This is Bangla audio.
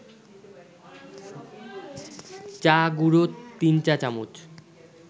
চা-গুঁড়ো ৩ চা-চামচ